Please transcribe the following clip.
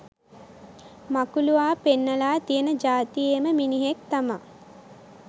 මකුළුවා පෙන්නලා තියෙන ජාතියේම මිනිහෙක් තමා.